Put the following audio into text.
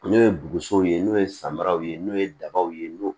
N'o ye bugusow ye n'o ye samaraw ye n'o ye dabaw ye n'o ye